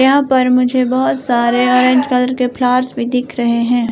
यहां पर मुझे बहुत सारे ऑरेंज कलर के फ्लावर्स भी दिख रहे हैं।